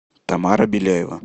тамара беляева